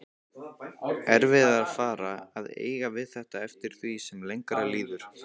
Erfiðara að eiga við þetta eftir því sem lengra líður.